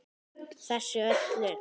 Þessu öllu.